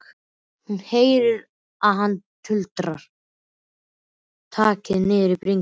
Hún heyrir að hann tuldrar takk niður í bringuna.